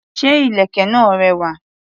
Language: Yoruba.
Ṣé ìlèkè náà rẹwà?